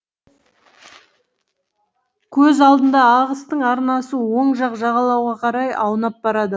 көз алдында ағыстың арнасы оң жақ жағалауға қарай аунап барады